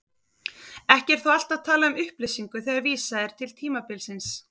Ekki er þó alltaf talað um upplýsingu þegar vísað er til tímabilsins.